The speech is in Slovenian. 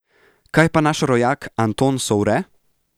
Kaj pa naš rojak Anton Sovre?